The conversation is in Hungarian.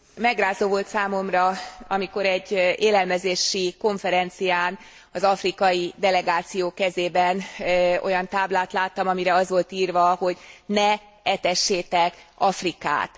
Megrázó volt számomra, amikor egy élelmezési konferencián az afrikai delegáció kezében olyan táblát láttam, amire az volt írva, hogy ne etessétek Afrikát.